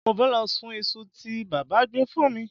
Mo fẹ́ lọ sun iṣu tí bàbá gbé fún mi